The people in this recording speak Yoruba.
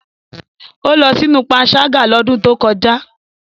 O lọ sinu panṣaga lodun to koja.